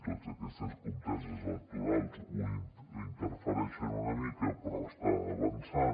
totes aquestes conteses electorals ho interfereixen una mica però està avançant